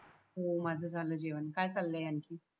हो माझ झाल जेवण काय चालय आणखी